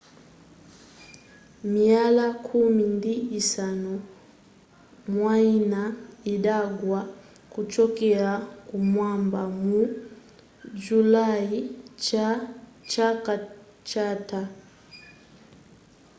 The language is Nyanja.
miyala khumi ndi isanu mwayina idagwa kuchokera kumwamba mu julayi chaka chatha